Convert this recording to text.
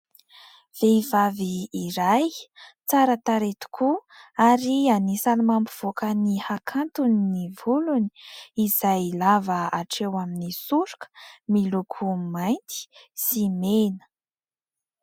Vehivavy iray tsara tarehy tokoa ary anisan'ny mampivoaka ny hakantony ny volony ; izay lava hatreo amin'ny soroka ; miloko mainty sy mena.